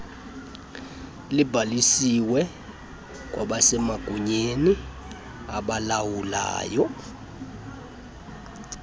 libhalisiwe kwabasemagunyeni abalawulayo